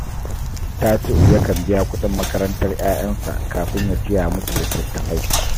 Tasi’u yakan biya kuɗin makarantar ‘ya’yansa kafin ya siya musu litattafai